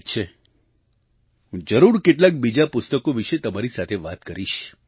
ઠીક છે હું જરૂર કેટલાંક બીજાં પુસ્તકો વિશે તમારી સાથે વાત કરીશ